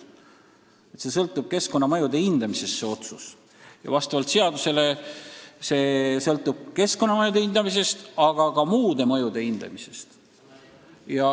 Otsus sõltub keskkonnamõjude hindamisest ja vastavalt seadusele ka muude mõjude hindamisest.